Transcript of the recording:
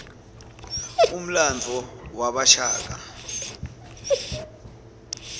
umlandvo wabashaka